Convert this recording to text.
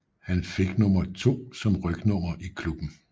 Han fik nummer 2 som rygnummer i klubben